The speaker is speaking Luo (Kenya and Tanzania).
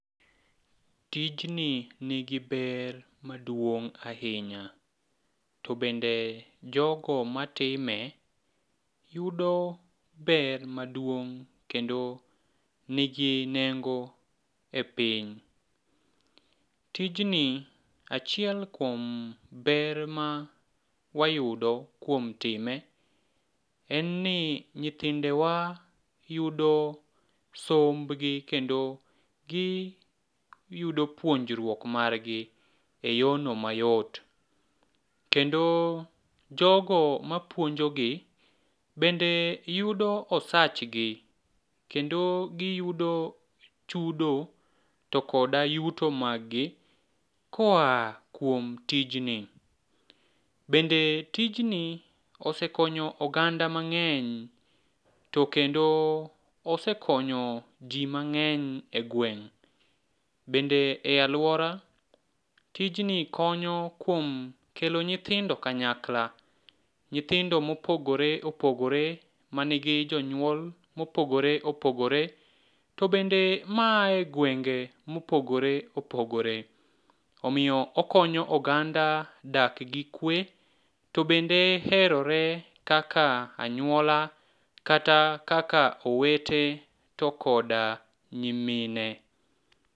Tijni nigi ber maduong' ahinya to bende jogo matime yudo ber maduong' kendo nigi nengo e piny. Tijni achiel kuom ber ma wayudo kuom time en ni nyithindewa yudo sombgi kendo giyudo puonjruok margi e yorno mayot, kendo jogo mapuonjogi bende yudo osachgi kendo giyudo chudo to koda yuto maggi koa kuom tijni. Bende tijni osekonyo oganda mang'eny to kendo osekonyo ji mang'eny e gweng',bende e alwora, tijni konyo kuom kelo nyithindo kanyakla, nyithindo mopogore opogore manigi jonyuol mopogore opogore, to bende maa e gwenge mopogore opogore. Omiyo okonyo oganda dak gi kwe, to bende herore kaka anyuola kata kaka owete to koda nyimine.